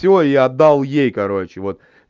всё я отдал ей короче вот